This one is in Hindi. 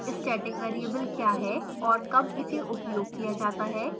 static variable क्या है और कब इसे उपयोग किया जाता है